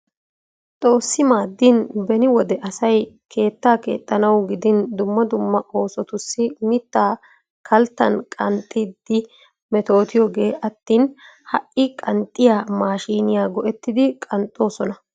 Xoossi maaddin beni wode asay keettaa keexxanawu gidin dumma dumma oosotussi mitta kalttan qaxxiiddi metootiyoogee attin ha'i qanxxiya maashiiniya go'etidi qanxxoosona.